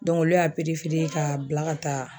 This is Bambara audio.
olu y'a k'a bila ka taa